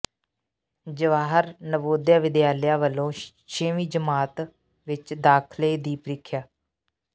ਜਵਾਹਰ ਨਵੋਦਿਆ ਵਿਦਿਆਲਿਆ ਵਲੋਂ ਛੇਵੀਂ ਜਮਾਤ ਵਿੱਚ ਦਾਖਲੇ ਦੀ ਪ੍ਰੀਖਿਆ